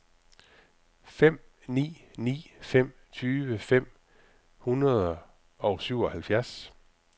fem ni ni fem tyve fem hundrede og syvoghalvfjerds